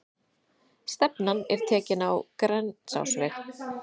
Stefnan er tekin á Grensásveg.